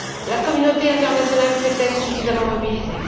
La communauté internationale s'est elle suffisamment mobilisée?